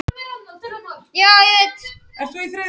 Dogg vill aðeins konur